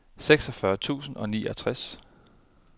seksogfyrre tusind og niogtres